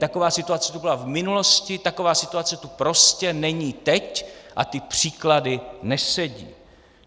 Taková situace tu byla v minulosti, taková situace tu prostě není teď a ty příklady nesedí.